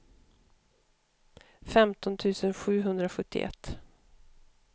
femton tusen sjuhundrasjuttioett